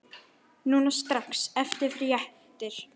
Núna strax- fyrir réttir.